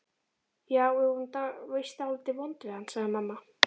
Já, við vorum víst dálítið vond við hann, sagði mamma.